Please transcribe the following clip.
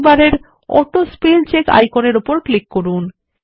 টুলবারের অটোস্পেলচেক আইকনের উপর ক্লিক করুন